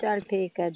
ਚੱਲ ਠੀਕ ਆ